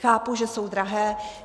Chápu, že jsou drahé.